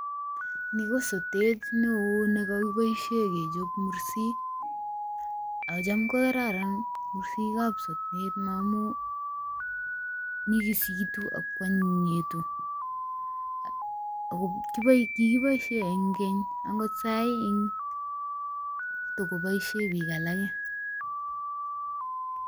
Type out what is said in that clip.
Ni kosotet neo nekokiboisien kechob mursik. Chamkokararan mursik ab sotet amun nyigisitu ago anyinyitu. Kigiboisien en keny, agot saa hii kotogoboisien biik alage.